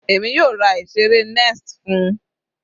Èmi yóò ra ìseré nest fún-un.